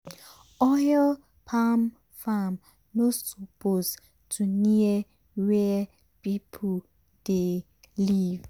oil palm farm no suppose to near where people dey live.